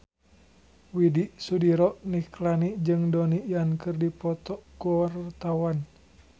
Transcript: Widy Soediro Nichlany jeung Donnie Yan keur dipoto ku wartawan